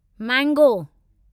mango